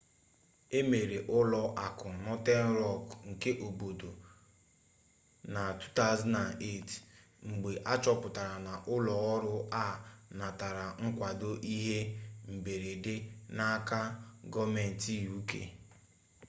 emere ụlọ akụ northern rock nke obodo na 2008 mgbe achọpụtara na ụlọ ọrụ a natara nkwado ihe mberede n'aka gọọmentị uk